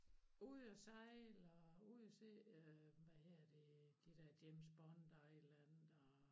Ude og sejle og ude at se øh hvad hedder det de der James Bond island og